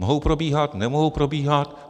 Mohou probíhat, nemohou probíhat?